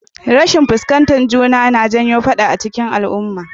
Rashin fuskantar juna na janyo faɗa cikin al'uma